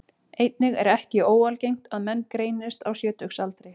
Einnig er ekki óalgengt að menn greinist á sjötugsaldri.